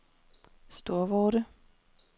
Storvorde